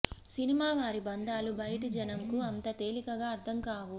cinema వారి బంధాలు బయటి జనంకు అంత తేలికగా అర్ధం కావు